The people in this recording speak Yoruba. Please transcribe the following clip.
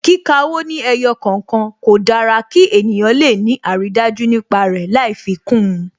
Kíka owó ní ẹyọ kọ̀okan, kò dára kí ènìyàn le ni aridaju nípa rẹ lai fi kún un